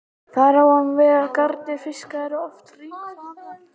Þar á hann við að garnir fiska eru oft hringvafðar.